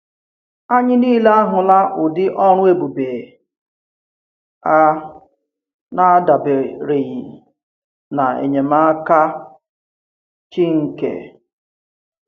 Anyị niile ahụ̀là udị̀ ọrụ̀ èbùbè a, n’adàbèrèghì ná enyèmàkà Chínkè.